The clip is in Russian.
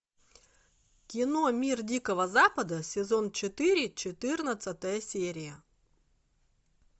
кино мир дикого запада сезон четыре четырнадцатая серия